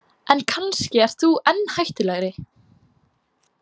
En kannski ert þú enn hættulegri.